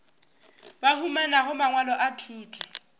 ba humanago mangwalo a thuto